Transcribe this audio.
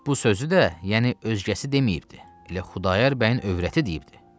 Bu sözü də, yəni özgəsi deməyibdir, elə Xudayar bəyin övrəti deyibdir.